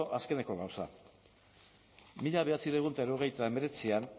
azkeneko gauza mila bederatziehun eta hirurogeita hemeretzian